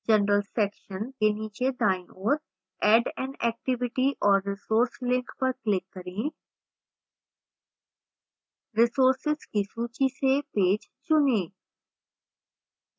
general section के नीचे दाईं ओर add an activity or resource link पर click करें